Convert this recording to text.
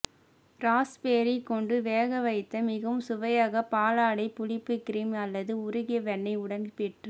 raspberry கொண்டு வேகவைத்த மிகவும் சுவையாக பாலாடை புளிப்பு கிரீம் அல்லது உருகிய வெண்ணெய் உடன் பெற்று